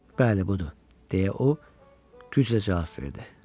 Bəli, budur, deyə o güclə cavab verdi.